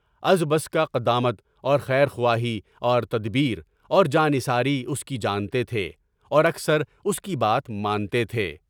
از بس کہ قدامت اور خیرخواہی اور تدبیر اور جان نثاری اس کی جانتے تھے اور اکثر اس کی بات مانتے تھے۔